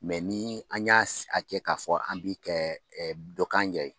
ni an y'a a kɛ k'a fɔ an bi kɛ dɔ k'an yɛrɛ